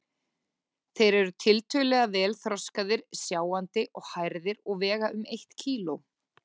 Þeir eru tiltölulega vel þroskaðir, sjáandi og hærðir og vega um eitt kíló.